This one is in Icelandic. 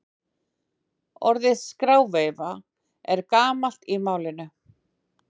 Orðið skráveifa er gamalt í málinu.